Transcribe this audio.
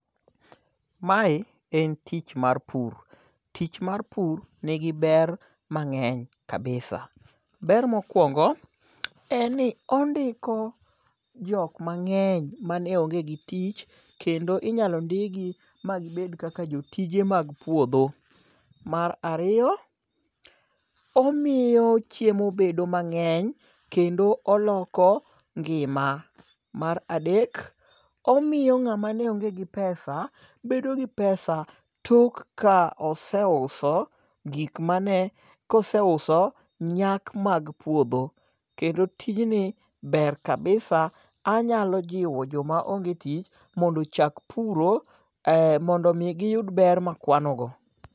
Mae en tich mar pur. Tich mar pur nigi ber mang'eny kabisa. Ber mokwongo en ni ondiko jok mang'eny mane onge gi tich kendo inyalo ndik gi magibed kaka jotije mag puodho. Mar ariyo omiyo chiemo bedo mang'eny kendo oloko ngima. Mar adek, omiyo ng'ama ne onge gi pesa bedo gi pesa tok ka oseuso gik mane kose uso nyak mag puodho. Kendo tij ni ber [cs[kabisa. Anyalo jiwo joma onge tich mondo ochak puro mondo mi giyud ber makwano go.